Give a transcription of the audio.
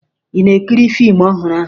Ị na-ekiri fiimu ọhụrụ ahụ?